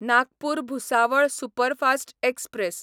Nagpur Bhusawal superfast express